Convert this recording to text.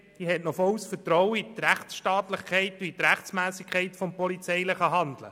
Die BDPFraktion hat volles Vertrauen in die Rechtsstaatlichkeit und Rechtmässigkeit des polizeilichen Handelns.